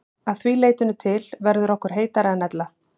Að því leytinu til verður okkur heitara en ella.